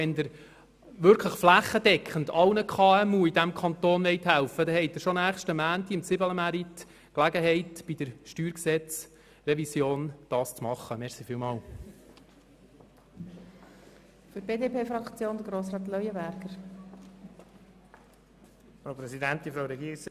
Wenn Sie wirklich flächendeckend sämtlichen KMU in diesem Kanton helfen wollen, haben Sie bereits am kommenden Montag, dem Zibelemärit, die Gelegenheit, dies zu tun, nämlich bei der Revision des Steuergesetzes (StG).